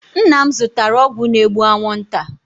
Nna m zụtara ọgwụ na-egbu anwụ nta.